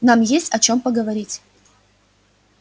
нам есть о чем поговорить